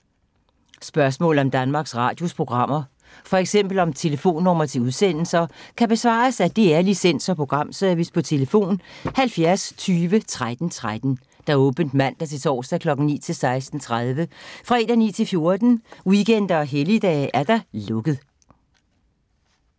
Spørgsmål om Danmarks Radios programmer, f.eks. om telefonnumre til udsendelser, kan besvares af DR Licens- og Programservice: tlf. 70 20 13 13, åbent mandag-torsdag 9.00-16.30, fredag 9.00-14.00, weekender og helligdage: lukket.